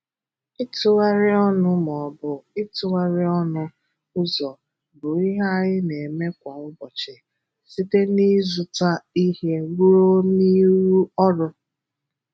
Ịtụgharị ọ̀nụ ma ọ bụ ịtụgharị ọ̀nụ ụzọ bụ ihe anyị na-eme kwa ụbọchị, site n’ịzùtà ihe ruo n’ịrụ ọrụ.